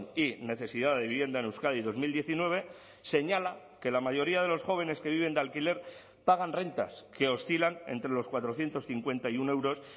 y necesidad de vivienda en euskadi dos mil diecinueve señala que la mayoría de los jóvenes que viven de alquiler pagan rentas que oscilan entre los cuatrocientos cincuenta y uno euros